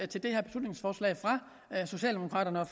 det her beslutningsforslag af socialdemokraterne